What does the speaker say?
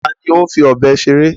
Ta ni ó ń fi ọ̀bẹ seré?